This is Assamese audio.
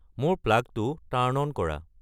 মোৰ প্লাগটো টাৰ্ন অন কৰা